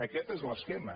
aquest és l’esquema